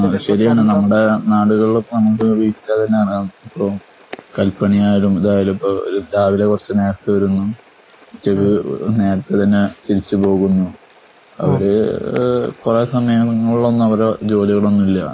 അത് ശെരിയാണ് നമ്മുടെനാടുകളില് അങ്ങനത്തെ ഇപ്പം കൽപ്പണിയായാലും ഇതായാലും ഇപ്പോ രാവിലെ കുറച്ച് നേരത്തെ വരുന്നു. ഉച്ചയ്ക്ക് നേരത്തെ തന്നെ തിരിച്ച് പോകുന്നു. ആ ഒരു കുറെ സമയങ്ങൾ ഒന്നും അവര് ജോലികളൊന്നുമില്ല.